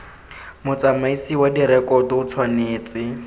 motsamaisi wa direkoto o tshwanetse